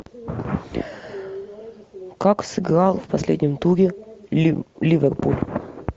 как сыграл в последнем туре ливерпуль